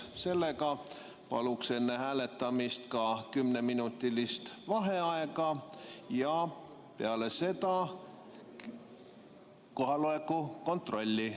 Enne hääletamist palun kümneminutilist vaheaega ja seejärel ka kohaloleku kontrolli.